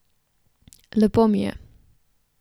Lepo mi je.